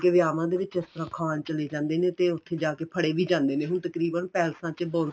ਵਿਆਵਾਂ ਦੇ ਵਿੱਚ ਇਸ ਤਰ੍ਹਾਂ ਖਾਣ ਚੱਲੇ ਜਾਂਦੇ ਨੇ ਤੇ ਉੱਥੇ ਜਾਕੇ ਫੜੇ ਵੀ ਜਾਂਦੇ ਨੇ ਹੁਣ ਤਕਰੀਬਨ ਪੈਲਸਾਂ ਚ ਬਹੁਤ